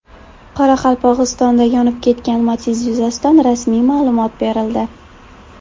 Qoraqalpog‘istonda yonib ketgan Matiz yuzasidan rasmiy ma’lumot berildi .